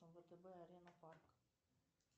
втб арена парк